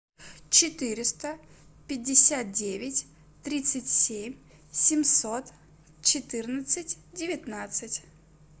четыреста пятьдесят девять тридцать семь семьсот четырнадцать девятнадцать